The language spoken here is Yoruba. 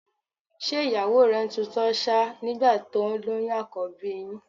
Ṣé ìyàwó rẹ ń tutọ́ ṣáá nígbà tó lóyún àkọ́bí yín?